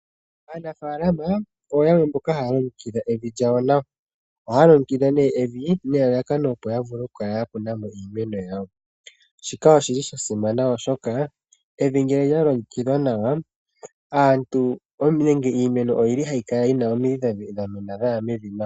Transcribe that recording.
Aanafaalama oyo yamwe mboka haya longekidha evi lyawo nawa. Ohaya longekidha nee evi nelalakano opo ya vule oku kala ya kuna mo iimeno yawo. Shika oshili sha simana oshoka evi ngele lya longekidhwa nawa aantu nenge iimeno oyili hayi kala yina omidhi dha mena dhaya mevi mo.